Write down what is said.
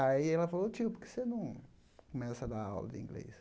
Aí ela falou, tio, por que você não começa a dar aula de inglês?